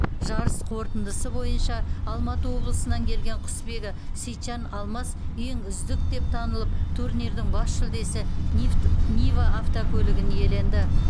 жарыс қорытындысы бойынша алматы облысынан келген құсбегі сейітжан алмас ең үздік деп танылып турнирдің бас жүлдесі нива автокөлігін иеленді